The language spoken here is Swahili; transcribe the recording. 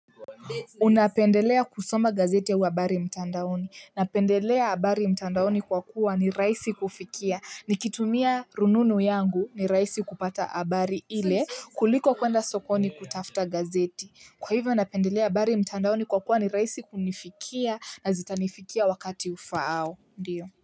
Unapendelea kusoma gazeti au habari mtandaoni. Napendelea habari mtandaoni kwa kuwa ni rahisi kufikia nikitumia rununu yangu ni rahisi kupata habari ile kuliko kwenda sokoni kutafuta gazeti kwa hivo napendelea habari mtandaoni kwa kuwa ni rahisi kunifikia na zitanifikia wakati ufaao ndio.